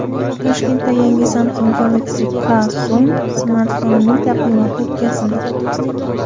Toshkentda yangi Samsung Galaxy K Zoom smartfonining taqdimoti o‘tkazildi.